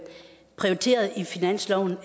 ministeren